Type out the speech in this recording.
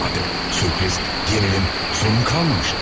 Artıq sürpriz, gerilim, sorun qalmamışdı.